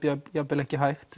jafn jafn vel ekki hægt